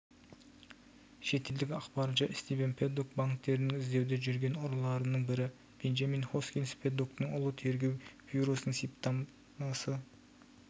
шетелдік ақпарынша стивен пэддок банктерінің іздеуде жүрген ұрыларының бірі бенджамин хоскинс пэддоктың ұлы тергеу бюросының сипаттамасы